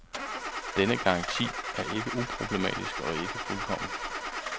Denne garanti er ikke uproblematisk og ikke fuldkommen.